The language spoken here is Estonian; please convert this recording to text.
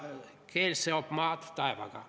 Keel seob maad taevaga.